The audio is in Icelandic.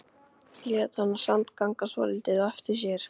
Lét hana samt ganga svolítið á eftir sér.